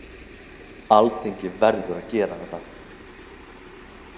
Alþingi verður að gera þetta